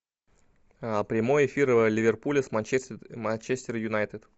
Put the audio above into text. прямой эфир ливерпуля с манчестер юнайтед